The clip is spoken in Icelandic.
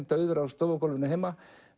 dauður á stofugólfinu heima